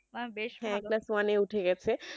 হ্যাঁ class one এ উঠে গেছে